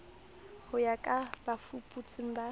ho ya ka bafuputsi ba